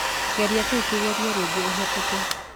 Geria kĩu kĩgerio rĩngĩ ũhetũke